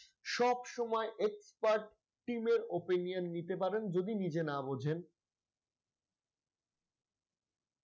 সবসময় expert team এর opinion নিতে পারেন যদি নিজে না বুঝেন।